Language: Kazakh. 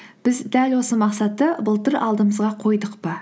біз дәл осы мақсатты былтыр алдымызға қойдық па